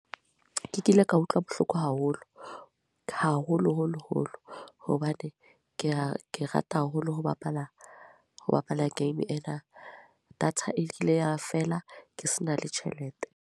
Ke kile ka utlwa bohloko haholo. Haholo-holo-holo. Hobane ke a, ke rata haholo ho bapala, ho bapala game ena. Data e ile ya fela, ke se na le tjhelete.